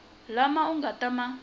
lama u nga ta ma